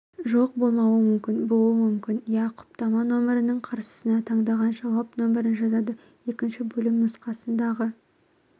жоқ болмауы мүмкін болуы мүмкін иә құптама номірінің қарсысына таңдаған жауап нөмірін жазады екінші бөлім нұсқасындағы